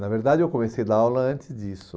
Na verdade, eu comecei a dar aula antes disso.